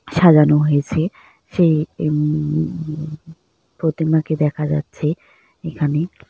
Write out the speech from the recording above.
সাজানো হয়েছে সেই উ-ম-ম- প্রতিমা কে দেখা যাচ্ছে এখানে।